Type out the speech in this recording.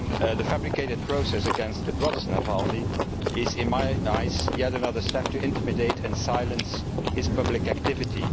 The fabricated process against Navalny's brother is in my eyes yet another step to intimidate and silence his public activity.